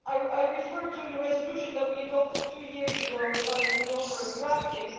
I refer to the resolution that we adopted two years ago that I had the honour of drafting.